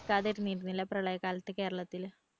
കിട്ടാതിരുന്നിരുന്നില്ല പ്രളയകാലത്ത് കേരളത്തില്